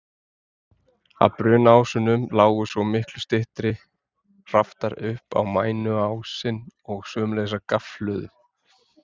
Af brúnásunum lágu svo miklu styttri raftar upp á mæniásinn, og sömuleiðis af gaflhlöðum.